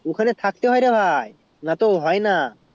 ওখানে থাকতে হয় রে ভাই নাতো হয় না